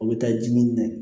O bɛ taa ji min